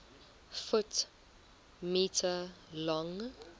ft m long